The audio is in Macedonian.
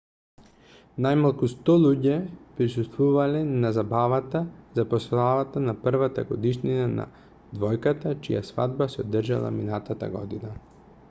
најмалку 100 луѓе присуствувале на забавата за прославата на првата годишнина на двојката чија свадба се одржала минатата година